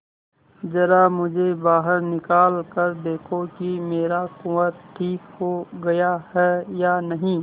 जरा मुझे बाहर निकाल कर देखो कि मेरा कुंवर ठीक हो गया है या नहीं